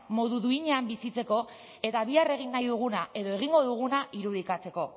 modu duinean bizitzeko eta bihar egin nahi duguna edo egingo duguna irudikatzeko